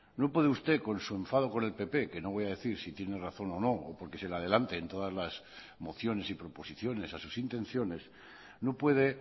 no puede usted con su enfado con el pp que no voy a decir si tiene razón o no o porque se le adelante en todas las mociones y proposiciones a sus intenciones no puede